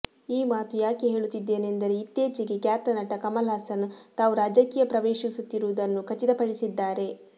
ಈ ಮಾತು ಯಾಕೆ ಹೇಳುತ್ತಿದ್ದೇನೆಂದರೆ ಇತ್ತೀಚೆಗೆ ಖ್ಯಾತ ನಟ ಕಮಲ್ ಹಾಸನ್ ತಾವು ರಾಜಕೀಯ ಪ್ರವೇಶಿಸುತ್ತಿರುವುದನ್ನು ಖಚಿತಪಡಿಸಿದ್ದಾರೆ